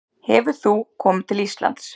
Hefur þú komið til Íslands?